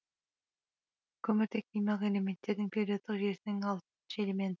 көміртек химиялық элементтердің периодтық жүйесінің алтыншы элемент